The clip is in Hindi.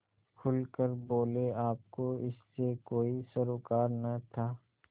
खुल कर बोलेआपको इससे कोई सरोकार न था